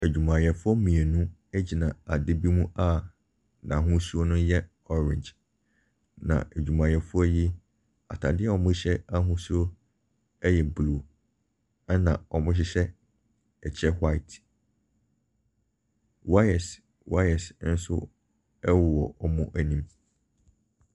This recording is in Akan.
Adwumayɛfoɔ mmienu egyina adeɛ bi mu a n'ahosuo no yɛ orange na adwumayɛfoɔ yi ataadeɛ a ɔhyɛ ahosuo ɛyɛ blue ɛna ɔhyehyɛ ɛkyɛ white. Wires wires ɛwowɔ wɔn ɛnim.